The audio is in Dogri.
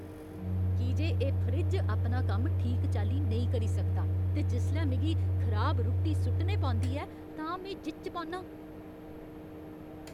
की जे एह् फ्रिज अपना कम्म ठीक चाल्ली नेईं करी सकदा ते जिसलै मिगी खराब रुट्टी सु'ट्टने पौंदी ऐ तां में जिच्च पौन्नां !